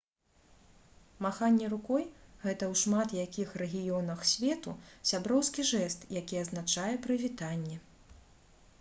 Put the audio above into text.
маханне рукой — гэта ў шмат якіх рэгіёнах свету сяброўскі жэст які азначае «прывітанне»